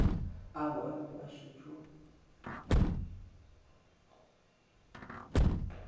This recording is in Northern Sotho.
ao a bego a šetše